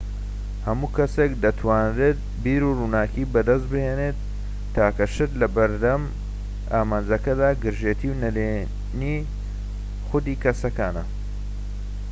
هەموو کەسێك دەتوانێت بیرڕووناکی بەدەستبێنێت تاکە شت لەبەر دەم ئەم ئامانجەدا گرژێتی و نەڕێنی خوودی کەسەکانە